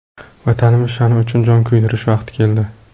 Vatanimiz sha’ni uchun jon kuydirish vaqti keldi!